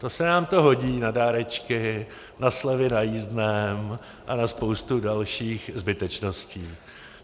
To se nám to hodí na dárečky, na slevy na jízdném a na spoustu dalších zbytečností.